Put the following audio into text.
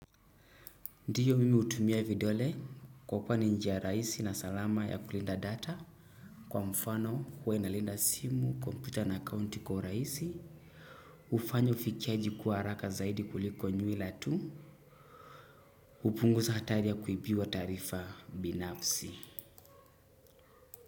Ndio mimi hutumia vidole kwa kwa ni njia rahisi na salama ya kulinda data. Kwa mfano huwa inalinda simu, computer na account kwa urahisi hufanya ufikiaji kuwa haraka zaidi kuliko nywila tu hupunguza hatari ya kuibiwa taarifa binafsi.